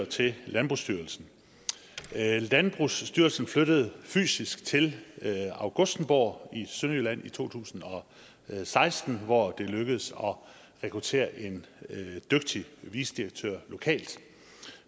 til landbrugsstyrelsen landbrugsstyrelsen flyttede fysisk til augustenborg i sønderjylland i to tusind og seksten hvor det lykkedes at rekruttere en dygtig vicedirektør lokalt